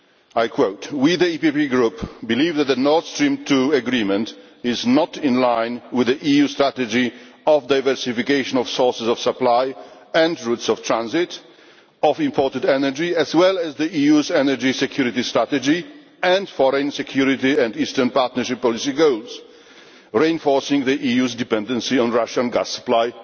I quote We, the EPP Group, believe that the Nord Stream 2 agreement is not in line with the EU strategy of diversification of sources of supply and routes of transit of imported energy, as well as the EU's energy security strategy and foreign security and Eastern Partnership policy goals, reinforcing the EU's dependency on Russian gas supply'.